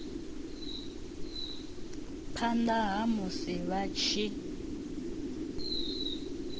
phanda ha musi vha tshi